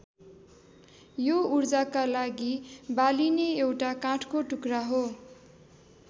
यो उर्जाका लागि बालिने एउटा काठको टुक्रा हो।